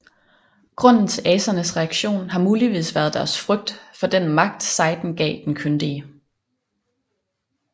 Grunden til asernes reaktion har muligvis været deres frygt for den magt sejden gav den kyndige